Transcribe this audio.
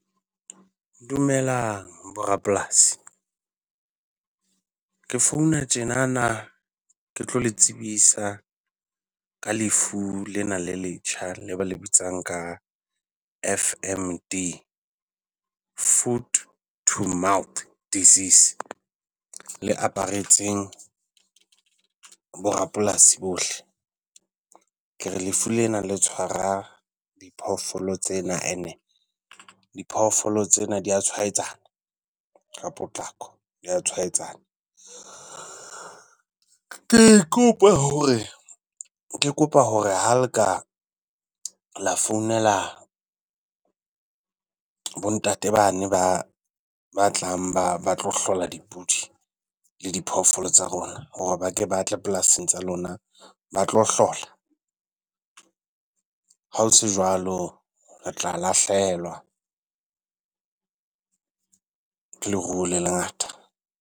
Dumelang bo rapolasi. Ke founa tjenana ke tlo le tsebisa ka lefu lena le letjha le ba le bitsang ka F_M_D, Food-to-mouth disease, le aparetseng bo rapolasi bohle. Ke re lefu lena le tshwara diphoofolo tsena ene diphoofolo tsena di a tswhaetsana ka potlako, dia tshwaetsana. Ke kopa hore, ke kopa hore ha le ka la founela bo-ntate ba ne ba ba tlang ba ba tlo hlola dipudi le diphoofolo tsa rona ba ke ba tle polasing tsa lona ba tlo hlola. Ha ho se jwalo re tla lahlehelwa ke leruo le lengata.